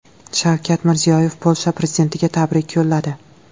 Shavkat Mirziyoyev Polsha prezidentiga tabrik yo‘lladi.